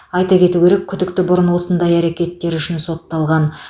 айта кету керек күдікті бұрын осындай әрекеттері үшін сотталған